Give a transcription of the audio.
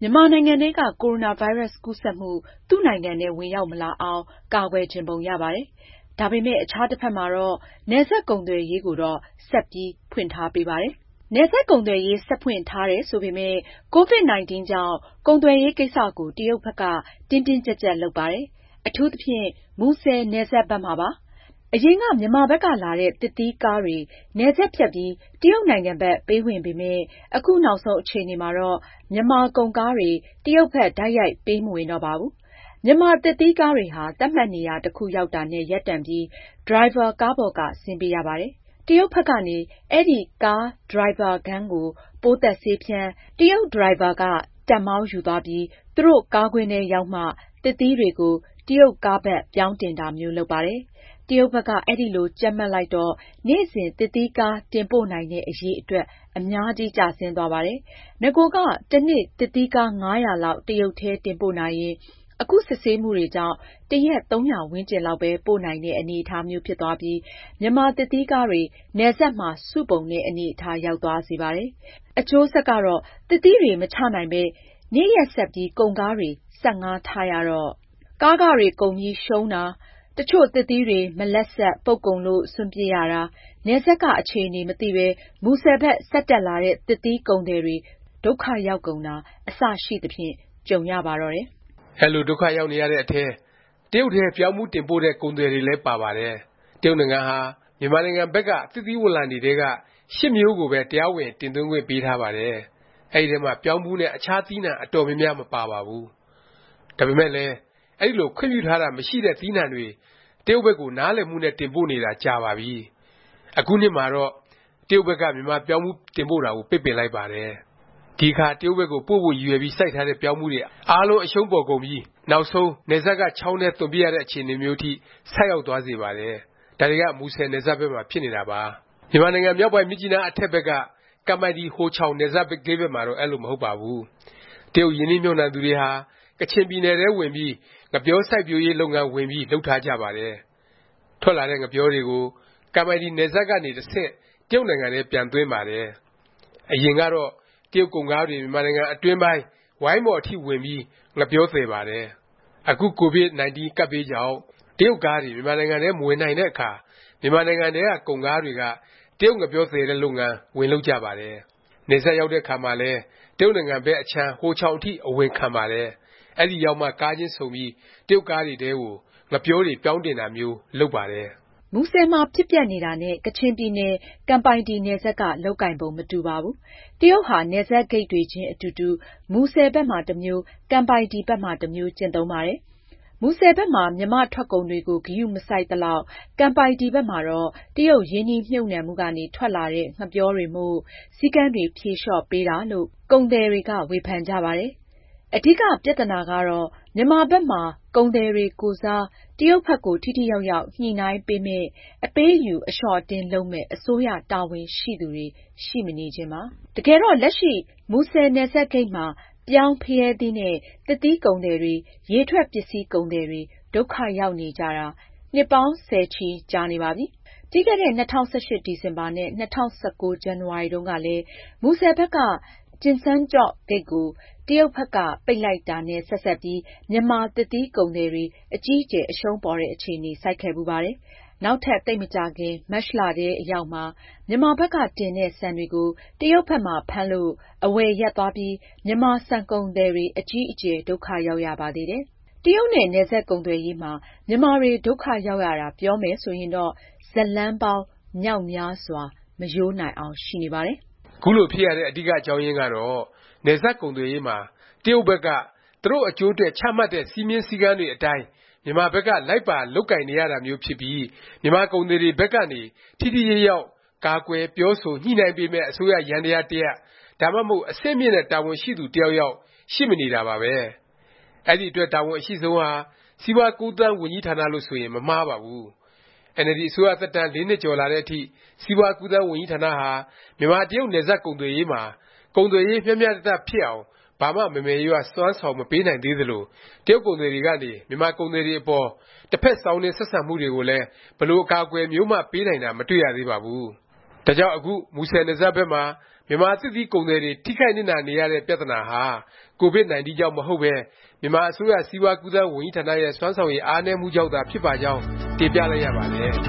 မြန်မာနိုင်ငံထဲက ကိုရိုနာဗိုင်းရပ်စ် ကူးစက်မှု သူ့နိုင်ငံထဲ ဝင်ရောက်မလာအောင် ကာကွယ်ချင်ပုံရပါတယ်။ ဒါပေမယ့် အခြားတစ်ဖက်မှာတော့ နယ်စပ်ကုန်သွယ်ရေးကိုတော့ ဆက်ပြီး ဖွင့်ပေးထားပါတယ်။ နယ်စပ်ကုန်သွယ်ရေး ဆက်ဖွင့်ထားတယ် ဆိုပေမယ့် COVID-19 ကြောင့် ကုန်သွယ်ရေးကိစ္စကို တရုတ်ဘက်က တင်းတင်းကြပ်ကြပ် လုပ်ပါတယ်။ အထူးသဖြင့် မူဆယ် နယ်စပ်ဘက်မှာပါ။ အရင်က မြန်မာဘက်က လာတဲ့ သစ်သီးကားတွေ နယ်စပ်ဖြတ်ပြီး တရုတ်နိုင်ငံဘက် ပေးဝင်ပေမယ့် အခုနောက်ဆုံး အခြေအနေမှာတော့ မြန်မာ ကုန်ကားတွေ တရုတ်ဘက် တိုက်ရိုက် ပေးမဝင်တော့ပါဘူး။ မြန်မာသစ်သီးကားတွေဟာ သတ်မှတ်နေရာ တစ်ခုရောက်တာနဲ့ ရပ်တန့်ပြီး ဒရိုင်ဘာ ကားပေါ်က ဆင်းပေးရပါတယ်။ တရုတ်ဘက်ကနေ အဲဒီ ကား ဒရိုင်ဘာခန်းကို ပိုးသတ်ဆေးဖြန်း၊ တရုတ် ဒရိုင်ဘာကတက် မောင်းယူသွားပြီး သူတို့ ကားကွင်းထဲရောက်မှ သစ်သီးတွေကို တရုတ်ကားဘက် ပြောင်းတင်တာမျိုး လုပ်ပါတယ်။ တရုတ်ဘက်က အဲလို ကြပ်မတ်လိုက်တော့ နေ့စဉ် သစ်သီးကား တင်ပို့နိုင်တဲ့ အရည်အတွက် အများကြီး ကျဆင်းသွားပါတယ်။ နဂိုက တစ်နေ့ သစ်သီးကား ၅၀၀ လောက် တရုတ်ထဲ တင်ပို့နိုင်ရင် အခု စစ်ဆေးမှုတွေကြောင့် တစ်ရက် ၃၀၀ ဝန်းကျင်လောက်ပဲ ပို့နိုင်တဲ့ အနေအထားမျိး ဖြစ်သွားပြီး မြန်မာသစ်သီးကားတွေ နယ်စပ်မှာ စုပုံတဲ့ အနေအထား ရောက်သွားစေပါတယ်။ အကျိုးဆက်ကတော့ သစ်သီးတွေ မချနိုင်ပဲ နေ့ရက်ဆက်ပြီး ကုန်ကားတွေကို ဆက်ငှားထားရတော့ ကားခတွေကုန်ပြီး ရှုံးတာ၊ တစ်ချို့ သစ်သီးတွေ မလပ်ဆတ်၊ ပုပ်ကုန်လို့ စွန့်ပစ်ရတာ၊ နယ်စပ်က အခြေအနေ မသိပဲ မူဆယ်ဘက် ဆက်တက်လာတဲ့ သစ်သီးကုန်သည်တွေ ဒုက္ခရောက်ကုန်တာ အစရှိသဖြင့် ကြုံရပါတော့တယ်။ အဲလို ဒုက္ခရောက်ရတဲ့အထဲ တရုတ်ထဲ ပြောင်းဖူးတင်ပို့တဲ့ ကုန်သည်တွေလည်း ပါပါတယ်။တရုတ်နိုင်ငံဟာ မြန်မာနိုင်ငံဘက်က သစ်သီးဝလံတွေထဲက (၈) မျိုးကိုပဲ တရားဝင် တင်သွင်းခွင့်ပေးထားပါတယ်။ အဲဒီထဲမှာ ပြောင်းဖူး နဲ့ အခြား သီးနှံ အတော်များများ မပါပါဘူး။ ဒါပေမယ့်လည်း အဲဒီလို ခွင့်ပြုထားတာ မရှိတဲ့ သီးနှံတွေ တရုတ်ဘက်ကို နားလည်မှုနဲ့ တင်ပို့နေတာ ကြာပါပြီ။ အခုနှစ်မှာတော့ တရုတ်ဘက်က မြန်မာပြောင်းဖူး တင်ပို့တာကို ပိတ်ပင်လိုက်ပါတယ်။ ဒီအခါ တရုတ်ဘက် ပို့ဖို့ ရည်ရွယ်ပြီး စိုက်ထားတဲ့ ပြောင်းဖူးတွေ အားလုံး အရှုံးပေါ်ကုန်ပြီး နောက်ဆုံး နယ်စပ်က ချောင်းထဲ သွန်ပစ်ရတဲ့ အခြေအနေမျိုး အထိ ဆိုက်ရောက်သွားစေပါတယ်။ ဒါတွေက မူဆယ်နယ်စပ်ဘက်မှာ ဖြစ်နေတာပါ။ မြန်မာနိုင်ငံ မြောက်ပိုင်း မြစ်ကြီးနား အထက်ဘက်က ကမ်ပိုင်တီ- ဟိုချောင် နယ်စပ်ဂိတ်ဘက်မှာတော့ အဲလို မဟုတ်ပါဘူး။ တရုတ်ရင်းနှီးမြှုပ်နှံသူတွေဟာ ကချင်ပြည်နယ်ထဲ ဝင်ပြီး ငှက်ပျောစိုက်ပျိုးရေး လုပ်ငန်း ဝင်ပြီး လုပ်ထားကြပါတယ်။ ထွက်လာတဲ့ ငှက်ပျောတွေကို ကမ်ပိုင်တီ နယ်စပ်ဂိတ်ကနေ တဆင့် တရုတ်နိုင်ငံထဲ ပြန်သွင်းပါတယ်။ အရင်ကတော့ တရုတ်ကုန်ကားတွေ မြန်မာနိုင်ငံ အတွင်းပိုင်း ဝိုင်းမော်အထိ ဝင်ပြီး ငှက်ပျောသယ်ပါတယ်။ အခုကိုဗစ်19 ကပ်ဘေးကြောင့် တရုတ်ကားတွေ မြန်မာနိုင်ငံထဲ မဝင်နိုင်တဲ့အခါ မြန်မာနိုင်ငံထဲက ကုန်ကားတွေက တရုတ်ငှက်ပျော သယ်တဲ့ လုပ်ငန်း ဝင်လုပ်ကြပါတယ်။ နယ်စပ် ရောက်တဲ့အခါမှာလည်း တရုတ်နိုင်ငံဘက် အခြမ်း ဟိုချောင်အထိ အဝင်ခံပါတယ်။ အဲဒီရောက်မှ ကားချင်းဆုံပြီး တရုတ်ကားတွေထဲကို ငှက်ပျောတွေ ပြောင်းတင်တာမျိုး လုပ်ပါတယ်။ မူဆယ်မှာ ဖြစ်ပျက်နေတာနဲ့ ကချင်ပြည်နယ် ကမ်ပိုင်တီနယ်စပ်က လုပ်ကိုင်ပုံ မတူပါဘူး။ တရုတ်ဟာ နယ်စပ်ဂိတ်တွေခြင်း အတူတူ မူဆယ်ဘက်မှာ တစ်မျိုး၊ ကမ်ပိုင်တီ ဘက်မှာ တစ်မျိုး ကျင့်သုံးပါတယ်။ မူဆယ်ဘက်မှာ မြန်မာ့ထွက်ကုန်တွေကို ဂရုမစိုက်သလောက် ကမ်ပိုင်တီ ဘက်မှာတော့ တရုတ်ရင်းနှီးမြှုပ်နှံမှုကနေ ထွက်လာတဲ့ ငှက်ပျောတွေမို့ စည်းကမ်းတွေ ဖြေလျော့ပေးတာလို့ ကုန်သည်တွေက ဝေဖန်ကြပါတယ်။ အဓိက ပြသနာကတော့ မြန်မာဘက်မှာ ကုန်သည်တွေကိုယ်စား တရုတ်ဘက်ကို ထိထိရောက်ရောက် ညှိနှိုင်းပေးမယ့်၊ အပေးအယူ အလျော့အတင်း လုပ်မယ့် အစိုးရတာဝန်ရှိသူတွေ ရှိမနေခြင်းပါ။ တကယ်တော့ လက်ရှိ မူဆယ်နယ်စပ်ဂိတ်မှာ ပြောင်း၊ ဖရဲသီးနဲ့ သစ်သီးကုန်သည်တွေ၊ ရေထွက်ပစ္စည်းကုန်သည်တွေ ဒုက္ခရောက်နေကြတာ နှစ်ပေါင်း ဆယ်ချီ ကြာနေပါပြီ။ ပြီးခဲ့တဲ့ ၂၀၁၈ ဒီဇင်ဘာ နဲ့ ၂၀၁၉ ဇန်နဝါရီတုန်းကလည်း မူဆယ်ဘက်က ကျင်စန်းကျော့ဂိတ်ကို တရုတ်ဘက်က ပိတ်လိုက်တာနဲ့ ဆက်စပ်ပြီး မြန်မာ သစ်သီးကုန်သည်တွေ အကြီးအကျယ် အရှုံးပေါ်တဲ့ အခြေ ဆိုက်ခဲ့ဖူးပါတယ်။ နောက်ထပ် သိပ်မကြာခင် မတ်လထဲ အရောက်မှာ မြန်မာဘက်က တင်တဲ့ ဆန်တွေကို တရုတ်ဘက်မှာ ဖမ်းလို့ အဝယ်ရပ်သွားပြီး မြန်မာဆန်ကုန်သည်တွေ အကြီးအကျယ် ဒုက္ခရောက်ရပါသေးတယ်။ တရုတ်နဲ့ နယ်စပ်ကုန်သွယ်ရေးမှာ မြန်မာတွေ ဒုက္ခရောက်ရတာ ပြောမယ်ဆိုရင်တော့ ဇတ်လမ်းပေါင်း မြောက်များစွာ မရိုးနိုင်အောင် ရှိနေပါတယ်။ ခုလို ဖြစ်ရတဲ့ အဓိက အကြောင်းရင်းကတော့ နယ်စပ်ကုန်သွယ်ရေးမှာ တရုတ်ဘက်က သူတို့ အကျိုးအတွက် ချမှတ်တဲ့ စည်းမျဉ်းစည်းကမ်းတွေ အတိုင်း မြန်မာဘက်က လိုက်ပါလုပ်ကိုင်နေရတာမျိုးဖြစ်ပြီး မြန်မာကုန်သည်တွေဘက်ကနေ ထိထိရောက်ရောက် ကာကွယ်၊ ပြောဆို၊ ညှိနှိုင်းပေးမယ့် အစိုးရ ယန္တယား တစ်ရပ်၊ ဒါမှမဟုတ် အဆင့်မြင့်တဲ့ တာဝန်ရှိသူ တစ်ယောက်ယောက် ရှိမနေတာပါပဲ။ အဲဒီအတွက် တာဝန်အရှိဆုံးဟာ စီးပွားကူးသန်း ဝန်ကြီးဌာနလို့ ဆိုရင် မမှားပါဘူး။ အင်န်အယ်လ်ဒီ အစိုးရသက်တမ်း ၄ နှစ်ကျော်လာတဲ့ အထိ စီးပွား-ကူးသန်း ဝန်ကြီးဌာနဟာ မြန်မာ- တရုတ် နယ်စပ်ကုန်သွယ်ရေးမှာ ကုန်သွယ်ရေး မျှမျှတတ ဖြစ်အောင် ဘာမှ မယ်မယ်ရရ စွမ်းဆောင်မပေးနိုင်သေးသလို၊ တရုတ်ကုန်သည်တွေကနေ မြန်မာကုန်သည်တွေအပေါ် တစ်ဖက်စောင်းနင်း ဆက်ဆံမှုတွေကိုလည်း ဘယ်လို အကာအကွယ်မျိုးမှ ပေးနိုင်တာ မတွေ့ရသေးပါဘူး။ ဒါကြောင့် အခု မူဆယ်နယ်စပ်ဘက်မှာ မြန်မာ သစ်သီးကုန်သည်တွေ ထိခိုက်နစ်နာနေရတဲ့ ပြသနာဟာ Covid-19 ကြောင့်မဟုတ်ပဲ မြန်မာ အစိုးရ စီးပွား-ကူးသန်း ဝန်ကြီးဌာနရဲ့ စွမ်းဆောင်ရည် အားနည်းမှုကြောင့်သာ ဖြစ်ပါကြောင်း တင်ပြလိုက်ရပါတယ်။